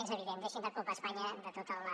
és evident deixin de culpar a espanya de tota la